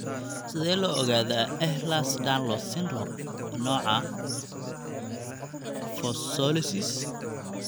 Sidee loo ogaadaa Ehlers Danlos syndrome, nooca kyphoscoliosis?